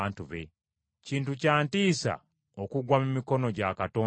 Kintu kya ntiisa okugwa mu mikono gya Katonda omulamu!